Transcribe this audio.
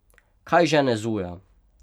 Kaj žene Zuja?